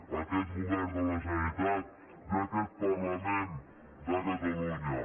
a aquest govern de la generalitat i a aquest parlament de catalunya